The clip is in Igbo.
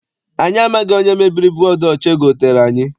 Anyị amaghị onye mebiri bọdu ọcha egotere anyị.